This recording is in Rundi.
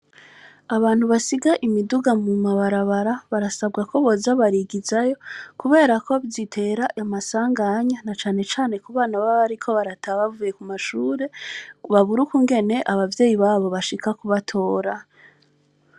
Abantu basiga imiduga mu mabarabara, barasabwa ko boza barigizayo, kubera ko zitera amasanganya, na cane cane ku bana baba bariko barataha bavuye ku mashure, babura ukungene abavyeyi babo bashika kubatora.